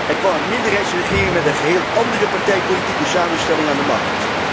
Er kwam een minderheidsregering met een geheel andere partijpolitieke samenstelling aan de macht.